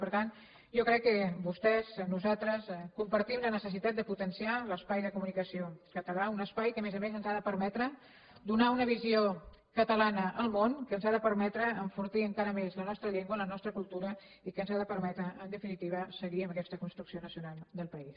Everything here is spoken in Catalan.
per tant jo crec que vostès nosaltres compartim la necessitat de potenciar l’espai de comunicació català un espai que a més a més ens ha de permetre donar una visió catalana al món que ens ha de permetre enfortir encara més la nostra llengua la nostra cultura i que ens ha de permetre en definitiva seguir amb aquesta construcció nacional del país